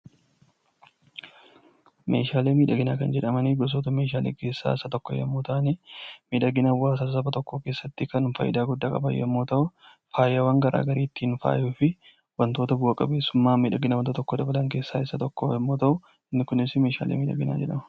Meeshaalee miidhaginaa kan jedhaman gosoota meeshaalee keessaa Isa tokko yommuu ta'an miidhagina hawaasa tokkoo keessatti kan gahee guddaa qaban yommuu ta'u, faayawwan garaagaraa ittiin faayuu fi wantoota bu'aa qabeessumaa miidhagina wanta tokkoo dabalan keessaa Isa tokko yommuu ta'u, inni Kunis meeshaa miidhaginaa jedhama